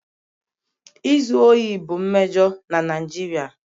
Izu ohi bụ mmejọ na Naijiria